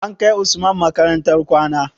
An kai usman makarantar kwana?